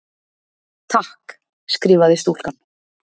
Takk, skrifaði stúlkan.